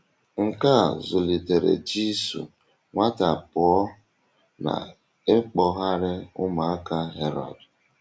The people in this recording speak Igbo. Nke a zùlitèrè Jisù nwata pụọ n’ịkpọ́gharị̀ ụmụaka Herod.